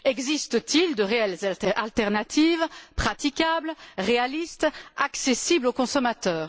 Existe t il de réelles alternatives praticables, réalistes, accessibles au consommateur?